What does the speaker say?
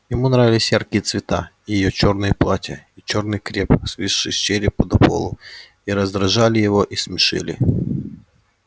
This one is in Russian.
ему нравились яркие цвета и её чёрные платья и чёрный креп свисший с черепа до полу и раздражали его и смешили